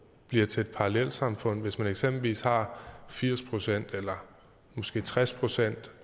bliver til et parallelsamfund hvis man eksempelvis har firs procent eller måske tres procent